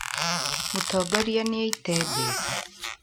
Mũtongoria nĩ aaĩte mbeca